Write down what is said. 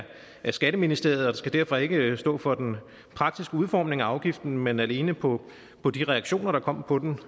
skatteministeriet og skal derfor ikke stå for den praktiske udformning af afgiften men alene på på de reaktioner der kom på den